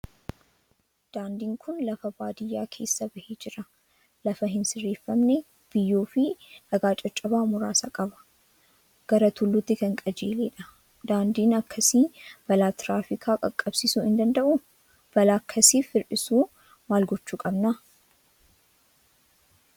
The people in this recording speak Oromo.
Daandiin kun lafa baadiyyaa keessa bahee jira. Lafa hin sirreeffamne, biyyoo fi dhagaa caccabaa muraasa qaba. Gara tulluutti kan qajeelee jirudha. Daandiin akkasii balaa tiraafikaa qaqqabsiisuu hin danda'u? Balaa akkasiif hir'isuu maal gochuu qabna?